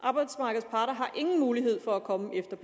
arbejdsmarkedets parter har ingen mulighed for at komme efter